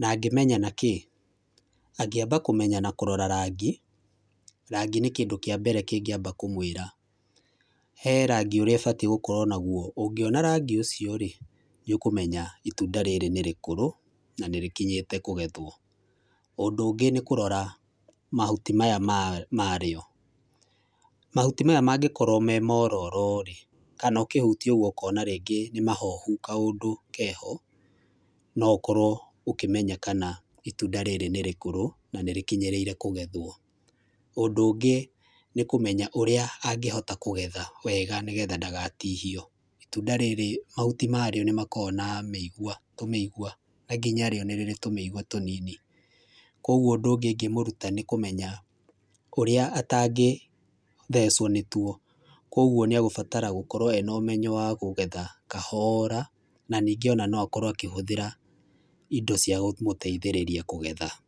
Na angĩmenya na kĩĩ? Angĩmba kũmenya na rangĩ, rangi nĩ kĩndũ kĩambere kĩngĩamba kũmwĩra. He rangi ũrĩ ĩbatiĩ gũkorwo naguo, ũngĩona rangi ũcio-rĩ, nĩ ũkũmenya itunda rĩrĩ nĩ rĩkũrũ na nĩ rĩkinyĩte kũgetwo. Ũndũ ũngĩ nĩ kũrora mahuti maya marĩo. Mahuti maya mangĩkorwo me mororo-rĩ, kana ũkĩhutia ũguo ũkona nĩ mahohu kaũndũ keho, no ũkorwo ũkĩmenya kana itunda rĩrĩ nĩ rĩkũrũ na nĩrĩkinyĩrĩire kũgethwo. Ũndũ ũngĩ nĩ kũmenya ũrĩa angĩhota kũgetha wega nĩ getha ndagatihio. Itunda rĩrĩ mahuti marĩo nĩ makoragwo na mĩigua, tũmĩigua na nginyarĩo nĩrĩrĩ tũmĩigua tũnini. Kũoguo ũndũ ũngĩ ingĩmũruta nĩ kũmenya ũrĩa atangĩthecwo nĩ tuo, kũoguo nĩ egũbatara gũkorwo ena ũmenyo wa kũgetha kahora na ningĩ no akorwo akĩhũthĩra indo cia kũmũteithĩrĩria kũgetha.